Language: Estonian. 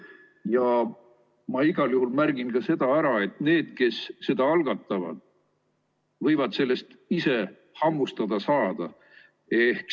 Ja ma igal juhul märgin ka seda ära, et need, kes seda algatavad, võivad sellest ise hammustada saada.